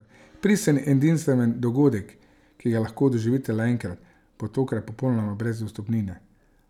Pristen in edinstven dogodek, ki ga lahko doživite le enkrat, bo tokrat popolnoma brez vstopnine!